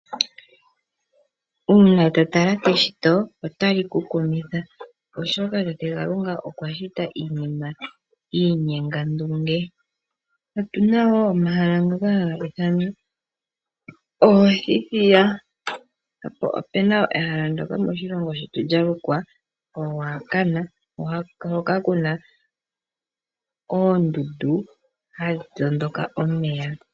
Uuna to tala keshito otali ku kumitha, oshoka tate Kalunga okwa shita iinima yiinyengandunge. Otu na wo omahala ngoka haga ithanwa oothithiya, po opu nawa wo ehala moshilongo shetu ndyoka lya lukwa Ruacana, hoka ku na oondundu hadhi tondoka omeya.